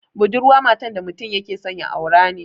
Budurwa matan da mutum yake so ya aura ne